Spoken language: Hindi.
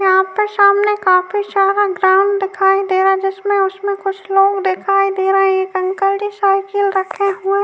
यहां पर काफी सारा ग्राउंड दिखाई दे रहा है जिसमे उसमें कुछ लोग दिखाई दे रहे हैं। एक अंकल जी साइकिल रखे हुए --